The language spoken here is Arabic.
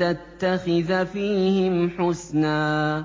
تَتَّخِذَ فِيهِمْ حُسْنًا